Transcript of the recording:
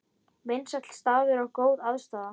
Vinsæll staður og góð aðstaða